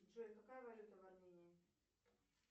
джой какая валюта в армении